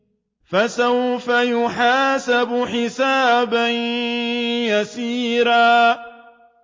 فَسَوْفَ يُحَاسَبُ حِسَابًا يَسِيرًا